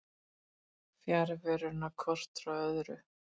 fjarveruna hvort frá öðru